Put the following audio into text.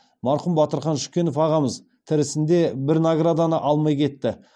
марқұм батырхан шүкенов ағамыз тірісінде бір награданы алмай кетті